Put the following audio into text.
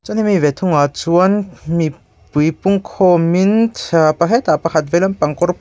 hemi ve thungah chuan mi pui pungkhawmin hetah pakhat veilam pang kawr pawl--